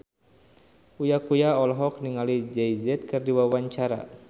Uya Kuya olohok ningali Jay Z keur diwawancara